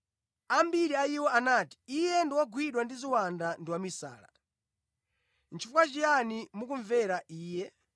Ambiri a iwo anati, “Iye ndi wogwidwa ndi ziwanda ndi wamisala. Chifukwa chiyani mukumvera Iye?”